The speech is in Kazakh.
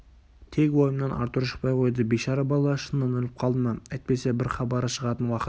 тек ойымнан артур шықпай қойды бейшара бала шыннан өліп қалды ма әйтпесе бір хабары шығатын уақыт